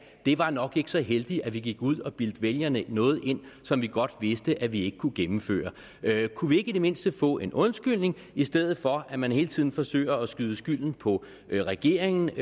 det var nok ikke så heldigt at vi gik ud og bildte vælgerne noget ind som vi godt vidste at vi ikke kunne gennemføre kunne vi i det mindste ikke få en undskyldning i stedet for at man hele tiden forsøger at skyde skylden på regeringen